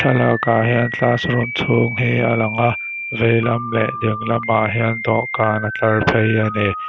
thlalakah hian classroom chhung hi a lang a veilam leh dinglam ah hian dawhkan a tlar phei a ni.